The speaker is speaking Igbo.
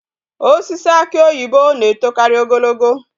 Osisi aki oyibo na etokaari ogologo